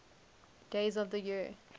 days of the year